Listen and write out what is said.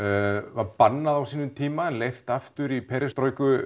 var bannað á sínum tíma en leyft aftur í